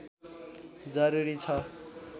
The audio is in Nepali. जरुरी छ